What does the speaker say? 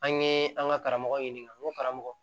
An ye an ka karamɔgɔw ɲininka n ko karamɔgɔ